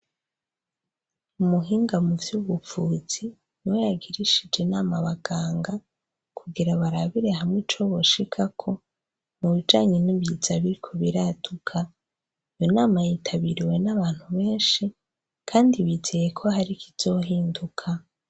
Umuhinga muvy'ubuvuzi niwe yagirishij' inam' abaganga kugira barabire hamw' icoboshikako, mubijanye nibiza biriko biraduka, iyo nama yitabiriwe n' abantu benshi kandi bizeyeko har' ikizohinduka.